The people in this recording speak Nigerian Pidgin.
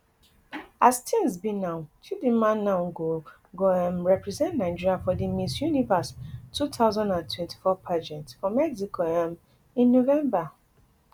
as tins be now chidimma now go go um represent nigeria for di miss universe two thousand and twenty-four pageant for mexico um in november